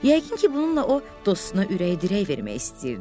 Yəqin ki, bununla o dostuna ürək-dirək vermək istəyirdi.